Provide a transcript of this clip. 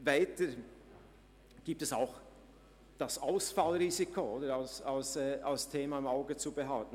Weiter gilt es, das Ausfallrisiko als Thema im Auge zu behalten.